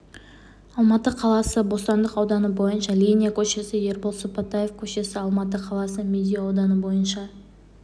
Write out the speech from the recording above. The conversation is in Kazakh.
алматы қаласы бостандық ауданы бойынша линия көшесі ербол сыпатаев көшесі алматы қаласы медеу ауданы бойынша